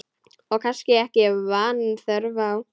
Og kannski ekki vanþörf á.